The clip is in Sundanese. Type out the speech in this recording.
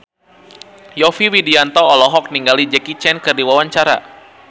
Yovie Widianto olohok ningali Jackie Chan keur diwawancara